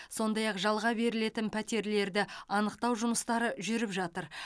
сондай ақ жалға берілетін пәтерлерді анықтау жұмыстары жүріп жатыр